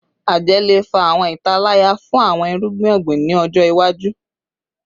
Ajẹ le fa awọn italaya fun awọn irugbin ogbin ni ọjọ iwaju